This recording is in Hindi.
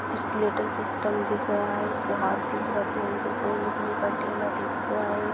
ई स्केलटन सिस्टम दिख रहा है उसके हात दिख रहे है पेल भी गोल दिखरी दिख रहा है।